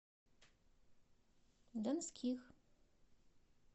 донских